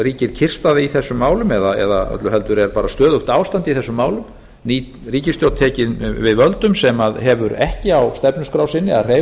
ríkir kyrrstaða í þessum málum eða öllu heldur er bara stöðugt ástand í þessum málum ný ríkisstjórn tekin við völdum sem hefur ekki á stefnuskrá sinni að hreyfa